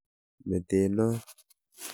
Mete noo.